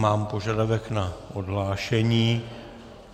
Mám požadavek na odhlášení.